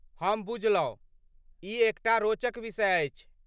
हम बुझलहुँ। ई एकटा रोचक विषय अछि।